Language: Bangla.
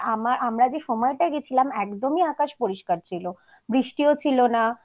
আর আমরা আমরা যে সময়টা গেছিলাম একদমই আকাশ পরিষ্কার ছিল বৃষ্টিও ছিল না